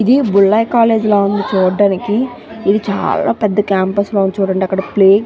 ఇది బుల్లయ్య కాలేజీ లాగా ఉంది చూడటానికి ఇది చాల పెద్ద క్యాంపస్ లా ఉంది చూడండి అక్కడ ప్లె --